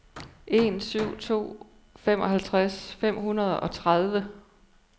en en syv to femoghalvtreds fem hundrede og tredive